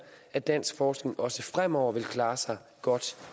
at dansk forskning også fremover vil klare sig godt